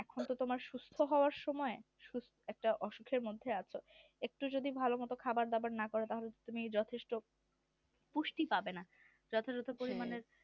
এখন তো তোমার সুস্থ হওয়ার সময় একটা অসুখের মধ্যে আছো একটু যদি ভালো করে খাবার দাবার না করো তাহলে তুমি যথেষ্ট পুষ্টি পাবে না যথাযথ পরিমাণের